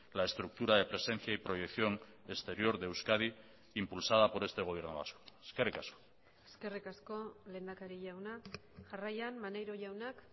la estructura de presencia y proyección exterior de euskadi impulsada por este gobierno vasco eskerrik asko eskerrik asko lehendakari jauna jarraian maneiro jaunak